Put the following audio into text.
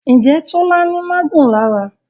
Njé Tola ní magun lára?